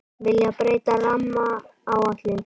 Vilja breyta rammaáætlun